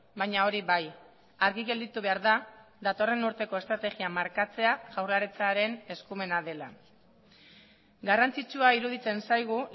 baina hori bai argi gelditu behar da datorren urteko estrategia markatzea jaurlaritzaren eskumena dela garrantzitsua iruditzen zaigu